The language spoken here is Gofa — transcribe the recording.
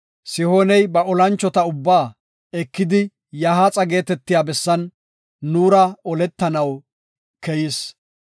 Sihooney ba olanchota ubbaa ekidi Yahaaxa geetetiya bessan nuura oletanaw keyis.